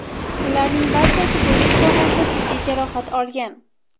Ularning barchasi bo‘yin sohasida jiddiy jarohat olgan.